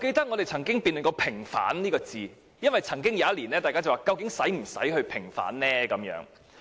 我們也曾辯論過"平反"這兩個字，因為有議員曾經質疑是否仍有平反六四的需要。